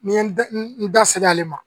Ni n ye n da n da ser'ale ma